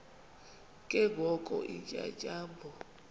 ke ngoko iintyatyambo